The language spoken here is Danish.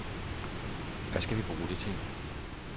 Hvad skal vi bruge det til?